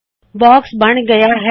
box ਬੱਣ ਗਇਆ ਹੈ